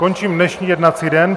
Končím dnešní jednací den.